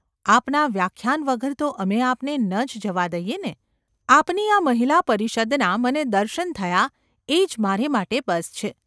આપના વ્યાખ્યાન વગર તો અમે આપને ન જ જવા દઈએ ને ?’ ‘આપની આ મહિલા પરિષદનાં મને દર્શન થયાં એ જ મારે માટે બસ છે.